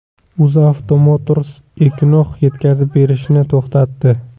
UzAuto Motors Equinox yetkazib berishni to‘xtatdi.